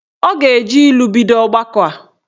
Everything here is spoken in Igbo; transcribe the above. Ọ ga-eji ilu bido ọgbakọ a.